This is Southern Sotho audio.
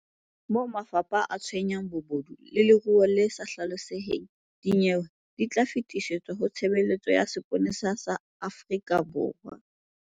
Moo mafapha a tshwayang bobodu le leruo le sa hlaloseheng, dinyewe di tla fetisetswa ho Tshebeletso ya Sepolesa sa Afrika Borwa.